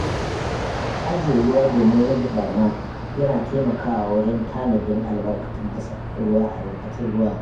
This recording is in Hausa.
Ajiye ruwa domin rage ɓarna yana taimakawa wajen tanadin albarkatun ruwa.